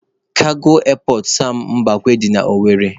Kago Erpọt Sam Mbakwe dị na Owere